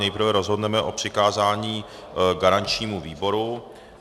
Nejprve rozhodneme o přikázání garančnímu výboru.